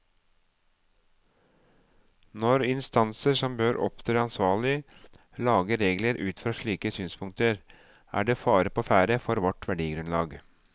Når instanser som bør opptre ansvarlig, lager regler ut fra slike synspunkter, er det fare på ferde for vårt verdigrunnlag.